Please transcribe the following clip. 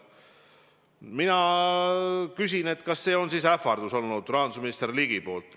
" Ma küsin, kas see oli siis ähvardus rahandusministri poolt.